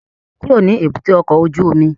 Kúrò ní èbúté ọkọ̀ ojú omi!